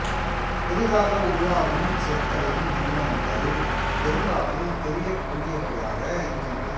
புதிதாக உருவாகும் சொற்களின் மூலங்கள் பெரும்பாலும் தெரியக் கூடியவையாக இருக்கின்றன